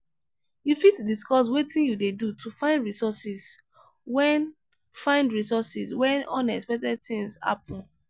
you fit discuss wetin you dey do to find resources when find resources when unexpected things happen?